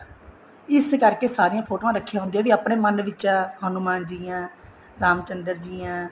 ਇਸ ਕਰਕੇ ਸਾਰੀਆਂ ਫੋਟੋਆਂ ਰੱਖੀਆਂ ਹੁੰਦੀਆਂ ਜਿਹੜੀ ਆਪਣੇ ਮੰਨ ਵਿੱਚ ਆ ਹਨੁਮਾਨ ਜੀ ਆ ਰਾਮ ਚੰਦਰ ਜੀ ਆ